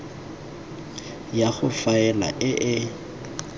ya go faela e e